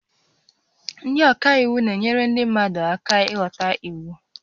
Ndị ọka iwu na-enyere ndị mmadụ aka ịghọta iwu